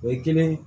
O ye kelen ye